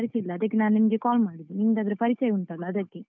ಪರಿಚಯ ಇಲ್ಲ, ಅದಕ್ಕೆ ನಾನ್ ನಿಮ್ಗೆ call ಮಾಡಿದ್ದು, ನಿಮ್ಗಾದ್ರೆ ಪರಿಚಯ ಉಂಟಲ್ಲ ಅದಕ್ಕೆ.